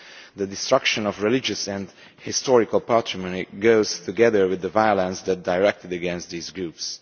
The destruction of religious and historical patrimony goes together with the violence that is directed against these groups.